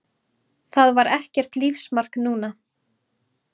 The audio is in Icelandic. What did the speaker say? Það var ekkert lífsmark núna.